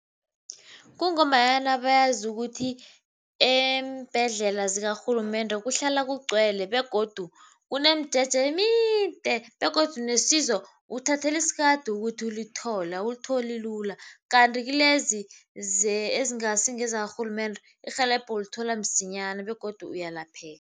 Kungombanyana bayazi ukuthi eembhedlela zikarhulumende kuhlala kugcwele begodu kunemijeje emide begodu nesizo uthathela isikade ukuthi ulithole, awulitholi lula. Kanti kilezi ezingasi ngezakarhulumende, irhelebho ulithola msinyana begodu uyalapheka.